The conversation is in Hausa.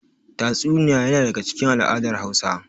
Tatsuniya yana daga cikin al'adar Hausa.